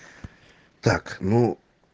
так ну